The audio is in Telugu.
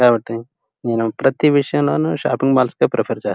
కాబట్టి నేను ప్రతి విషయంలోనూ షాపింగ్ మాల్స్ ప్రిఫెర్ చేస్తా.